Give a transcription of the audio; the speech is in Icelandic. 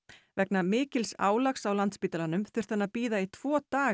vegna mikils álags á Landspítalanum þurfti hann að bíða í tvo daga